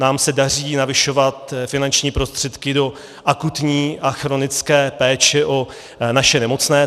Nám se daří navyšovat finanční prostředky do akutní a chronické péče o naše nemocné.